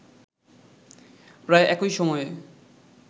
প্রায় একই সময়ে